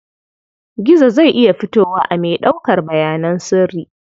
Gizo zai iya fitowa a mai ɗaukar bayanan sirri.